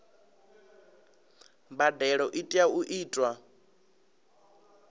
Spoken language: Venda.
mbadelo i tea u itwa